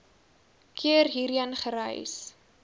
keer hierheen gereis